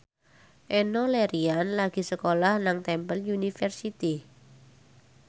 Enno Lerian lagi sekolah nang Temple University